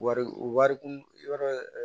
Wari kun wɛrɛ